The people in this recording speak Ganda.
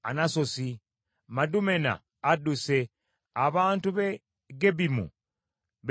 Madumena adduse, abantu b’e Gebimu beekukumye.